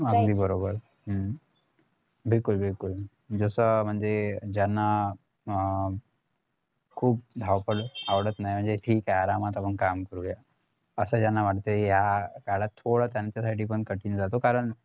अगदी बरोबर बिलकुल बिलकुल जस म्हणजे ज्यांना अं खुप धावपळ आवडत नाही म्हणजे ठीक हाय आरामात आपण काम करूयाअसं ज्यांना वाटतंय ह्या काळात थोडं त्याच्यासाठीपण कठीण जातं कारण